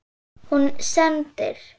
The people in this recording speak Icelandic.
Hún sendir